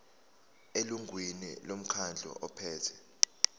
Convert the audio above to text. elungwini lomkhandlu ophethe